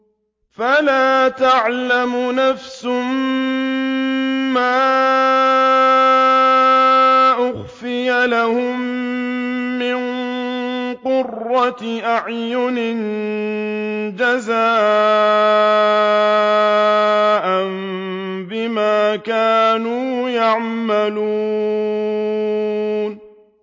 فَلَا تَعْلَمُ نَفْسٌ مَّا أُخْفِيَ لَهُم مِّن قُرَّةِ أَعْيُنٍ جَزَاءً بِمَا كَانُوا يَعْمَلُونَ